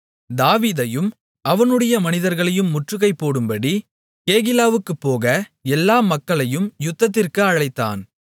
தாவீதையும் அவனுடைய மனிதர்களையும் முற்றுகை போடும்படி கேகிலாவுக்குப் போக எல்லா மக்களையும் யுத்தத்திற்கு அழைத்தான்